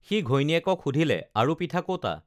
সি ঘৈণীয়েকক সুধিলে আৰু পিঠা ক'তা